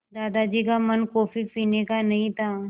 दादाजी का मन कॉफ़ी पीने का नहीं था